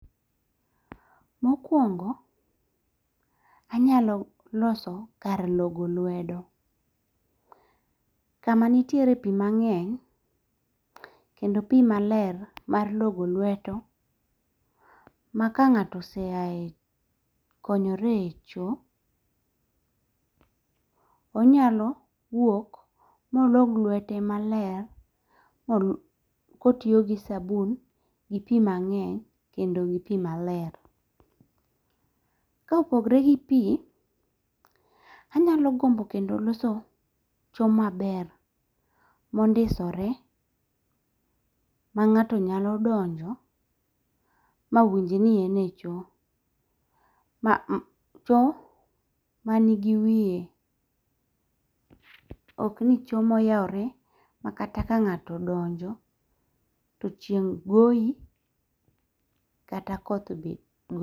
Mokwongo anyalo loso kar logo lwedo. Kamanitiere pi mang'eny kendo pi maler mar logo lweto ma ka ng'ato oseae konyore e cho, onyalo wuok molog lwete maler kotiyo gi sabun gi pi mang'eny kendo gi pi maler. Ka opogore gi pi, anyalo gombo kendo loso cho maber mondisore ma ng'ato nyalo donjo mawinj ni en e cho. Cho manigi wiye. Ok ni cho moyawore makata ka ng'ato odonjo to chieng' goyi kata koth be goyi.